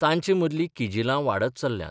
तांचे मदली किजिलां वाढत चल्ल्यांत.